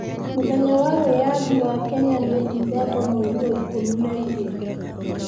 Mũthenya wa wĩyathi wa Kenya nĩ Dithemba mweri wa ikumi na igĩrĩ.